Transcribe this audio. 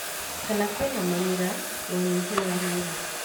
Kana kwĩna mamira, na ũnyihu wa rĩera.